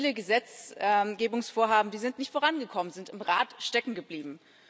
Viele Gesetzgesetzgebungsvorhaben sind nicht vorangekommen, sind im Rat stecken geblieben.